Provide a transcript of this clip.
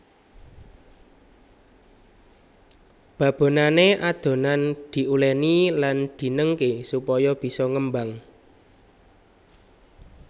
Babonané adonan diuléni lan dinengké supaya bisa ngembang